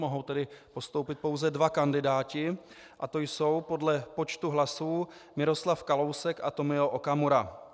Mohou tedy postoupit pouze dva kandidáti a to jsou podle počtu hlasů Miroslav Kalousek a Tomio Okamura.